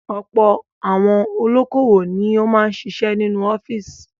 Ọ̀pọ̀ àwọn olókòwò ni ó máa ń ṣiṣẹ́ nínú office.